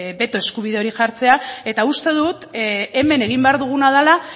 beto eskubide hori jartzea eta uste dut hemen egin behar duguna dela